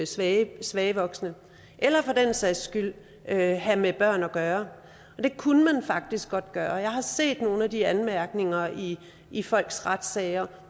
svage svage voksne eller for den sags skyld have have med børn at gøre det kunne man faktisk godt gøre jeg har set nogle af de anmærkninger i i folks retssager